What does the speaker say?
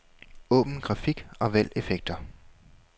Åbn grafik og vælg effekter.